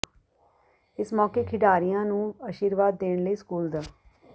ਇਸ ਮੌਕੇ ਖਿਡਾਰੀਆਂ ਨੂੰ ਅਸ਼ੀਰਵਾਦ ਦੇਣ ਲਈ ਸਕੂਲ ਦ